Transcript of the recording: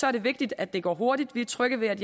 er det vigtigt at det går hurtigt vi er trygge ved at